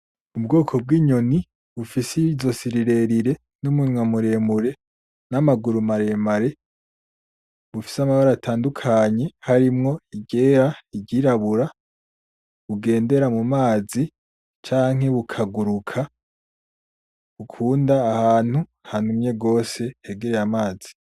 Ubwoko bw'inyoni bufise izosi rirerire n'umunwa muremure n'amaguru maremare, bufise amabara atandukanye harimwo iryera, iryirabura. Bugendera mumazi canke bukaguruka. Bukunda ahantu hanumye gose canke ahantu hegereye amazi.